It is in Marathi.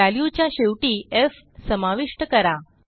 व्हॅल्यूच्या शेवटी एफ समाविष्ट करा